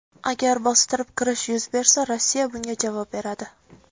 Agar bostirib kirish yuz bersa, Rossiya bunga javob beradi.